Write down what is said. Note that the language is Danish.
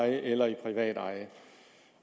eller privateje